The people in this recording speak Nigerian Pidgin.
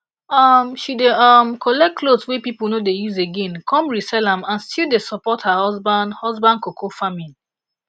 um she dey um collect clothes wey people no dey use again come resell am and still dey support her husband husband cocoa farming